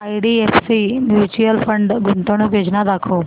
IDFC mutual fund गुंतवणूक योजना दाखव